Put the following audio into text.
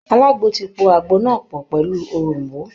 Alagbo ti po àgbo náà pọ̀ pẹ̀lú òroǹbó